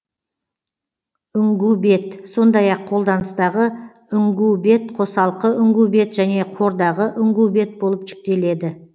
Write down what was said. үңгубет сондай ақ қолданыстағы үңгубет қосалқы үңгубет және қордағы үңгубет болып жіктеледі